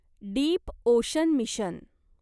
deep ocean mission